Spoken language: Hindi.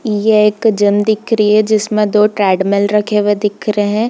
ये के जिम दिख रही है जिंसमे दो ट्रेडमिल रखे हुए दिख रहे है।